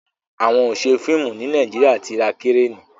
àwọn ọṣẹ fíìmù ní Nàìjíríà tí ra Kireni